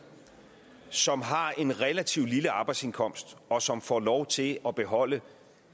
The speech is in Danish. som har en relativt lille arbejdsindkomst og som får lov til at beholde